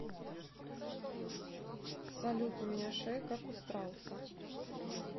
салют у меня шея как у страуса